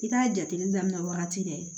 I k'a jateminɛ wagati bɛɛ